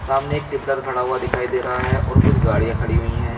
सामने एक टिपलर खड़ा हुआ दिखाई दे रहा है और कुछ गाड़ियां खड़ी हुई हैं।